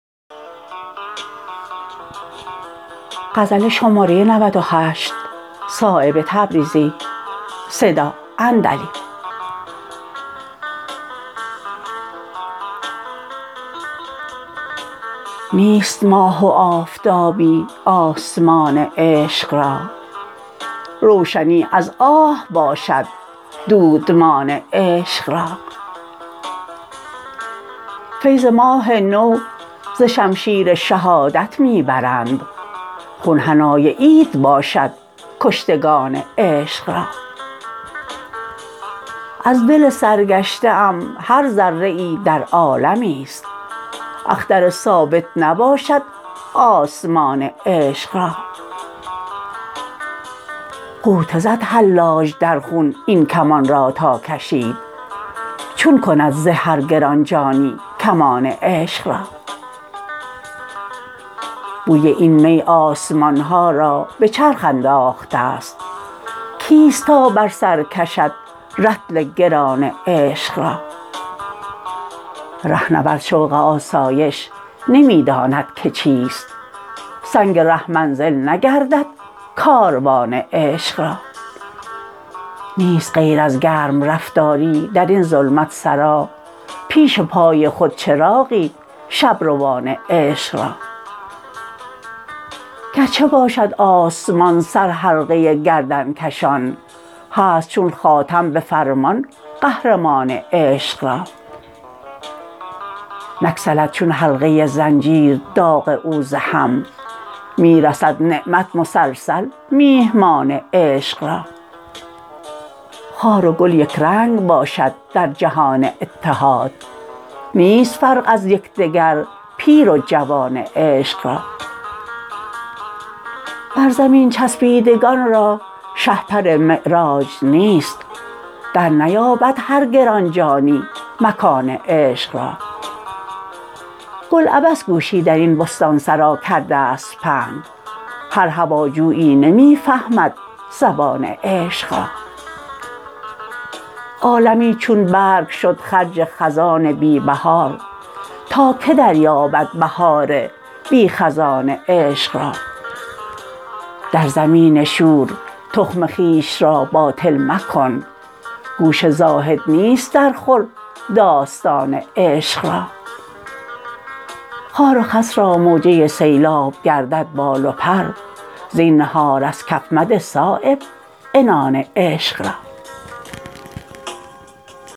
نیست ماه و آفتابی آسمان عشق را روشنی از آه باشد دودمان عشق را فیض ماه نو ز شمشیر شهادت می برند خون حنای عید باشد کشتگان عشق را از دل سرگشته ام هر ذره ای در عالمی است اختر ثابت نباشد آسمان عشق را غوطه زد حلاج در خون این کمان را تا کشید چون کند زه هر گرانجانی کمان عشق را بوی این می آسمان ها را به چرخ انداخته است کیست تا بر سر کشد رطل گران عشق را رهنورد شوق آسایش نمی داند که چیست سنگ ره منزل نگردد کاروان عشق را نیست غیر از گرم رفتاری درین ظلمت سرا پیش پای خود چراغی شبروان عشق را گر چه باشد آسمان سرحلقه گردنکشان هست چون خاتم به فرمان قهرمان عشق را نگسلد چون حلقه زنجیر داغ او ز هم می رسد نعمت مسلسل میهمان عشق را خار و گل یکرنگ باشد در جهان اتحاد نیست فرق از یکدگر پیر و جوان عشق را بر زمین چسبیدگان را شهپر معراج نیست در نیابد هر گرانجانی مکان عشق را گل عبث گوشی درین بستانسرا کرده است پهن هر هواجویی نمی فهمد زبان عشق را عالمی چون برگ شد خرج خزان بی بهار تا که دریابد بهار بی خزان عشق را در زمین شور تخم خویش را باطل مکن گوش زاهد نیست در خور داستان عشق را خار و خس را موجه سیلاب گردد بال و پر زینهار از کف مده صایب عنان عشق را